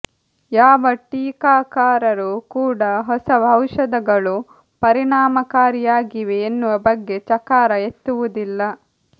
ಯಾವ ಟೀಕಾಕಾರರು ಕೂಡಾ ಹೊಸ ಔಷಧಗಳು ಪರಿಣಾಮಕಾರಿಯಾಗಿವೆ ಎನ್ನುವ ಬಗ್ಗೆ ಚಕಾರ ಎತ್ತುವುದಿಲ್ಲ